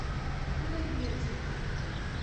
худайбердиев